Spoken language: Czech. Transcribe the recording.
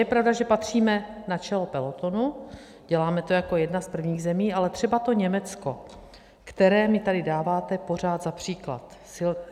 Je pravda, že patříme na čelo pelotonu, děláme to jako jedna z prvních zemí, ale třeba to Německo, které mi tady dáváte pořád za příklad.